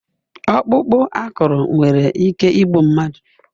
Ọkpụkpụ akụrụ nwere ike igbu mmadụ